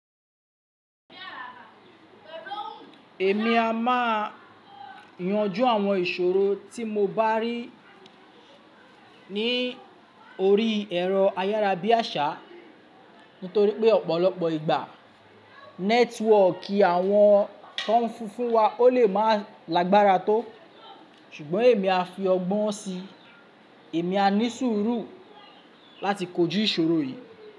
Èmi a má a yanju àwọn ìṣòro tí mo bá rí ní orí ẹ̀rọ ayárábiàsà nítorí pé ọ̀pọ̀lọpọ̀ ìgbà nẹ́tíwọ̀kì àwọn tó n fun wa ó lè má a lágbára tó. Ṣùgbọ́n èmi a fi ọgbọ́n si, èmi a ní sùúrù láti kójú ìṣòro yìí.